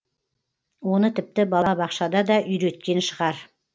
оны тіпті бала бақшада да үйреткен шығар